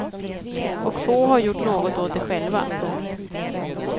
Och få har gjort något åt det själva. punkt